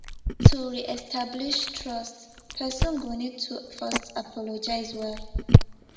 to reestablish trust person go need to first apologize well